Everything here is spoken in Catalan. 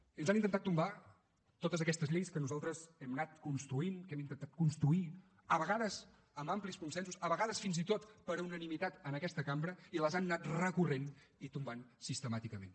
i ens han intentat tombar totes aquestes lleis que nosaltres hem anat construint que hem intentat construir a vegades amb amplis consensos a vegades fins i tot per unanimitat en aquesta cambra i les han anat recorrent i tombant sistemàticament